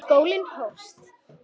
Skólinn hófst.